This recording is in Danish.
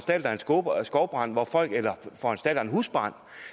skovbrand eller en husbrand